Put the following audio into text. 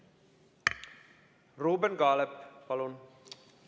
Ruuben Kaalep, palun!